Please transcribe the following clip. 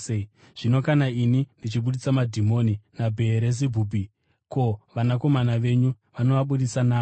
Zvino kana ini ndichibudisa madhimoni naBheerizebhubhi, ko, vanakomana venyu vanoabudisa naani?